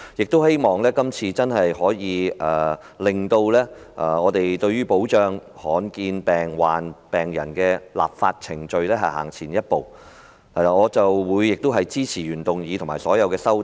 我希望這次真的可以令保障罕見疾病病人的立法程序走前一步，我亦會支持原議案和所有修正案。